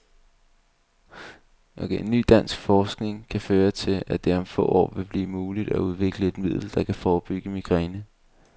Ny dansk forskning kan føre til, at det om få år vil blive muligt at udvikle et middel, der kan forebygge migræne.